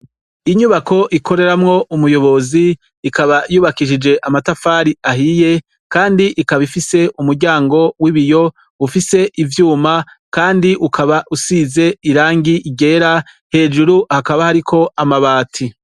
Inyubako ikoreramwo umuyobozi, ikaba yubakishije amatafari ahiye ,Kandi ikaba ifise umuryango w’ibiyo ufise ivyuma Kandi ukaba usize irangi ryera, hejuru hakaba hariko amabati.